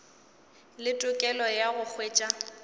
le tokelo ya go hwetša